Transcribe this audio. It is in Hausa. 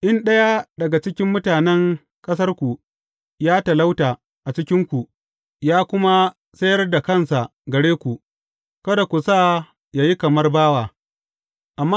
In ɗaya daga cikin mutanen ƙasarku ya talauta a cikinku, ya kuma sayar da kansa gare ku, kada ku sa yă yi kamar bawa.